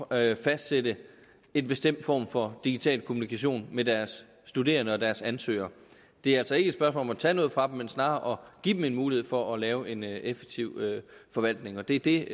at fastsætte en bestemt form for digital kommunikation med deres studerende og deres ansøgere det er altså ikke et spørgsmål om at tage noget fra dem men snarere om give dem en mulighed for at lave en effektiv forvaltning og det er det